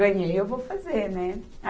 Ganhei, eu vou fazer, né?